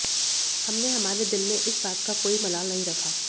हमने हमारे दिल में इस बात का कोई मलाल नहीं रखा